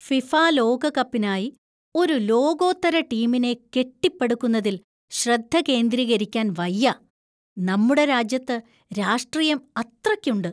FIFA ലോകകപ്പിനായി ഒരു ലോകോത്തര ടീമിനെ കെട്ടിപ്പടുക്കുന്നതിൽ ശ്രദ്ധ കേന്ദ്രീകരിക്കാൻ വയ്യ. നമ്മുടെ രാജ്യത്ത് രാഷ്ട്രീയം അത്രയ്ക്കുണ്ട്.